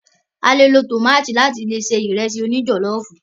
A lò lo tómátì láti se Ìrẹ́sì òní jọ̀lọ́ọ̀fù